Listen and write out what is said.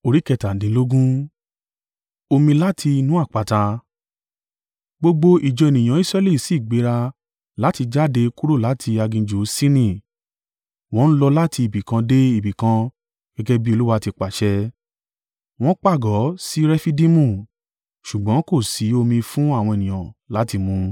Gbogbo ìjọ ènìyàn Israẹli si gbéra láti jáde kúrò láti aginjù Sini wọ́n ń lọ láti ibi kan de ibi kan gẹ́gẹ́ bí Olúwa ti pàṣẹ. Wọ́n pàgọ́ sí Refidimu, ṣùgbọ́n kò sí omi fún àwọn ènìyàn láti mú.